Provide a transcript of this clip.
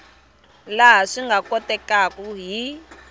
laha swi nga kotekaku hi